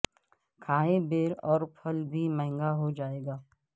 کھائیں بیر اور پھل بھی مہنگا ہو جائے گا